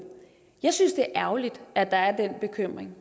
jeg synes det er ærgerligt at der er den bekymring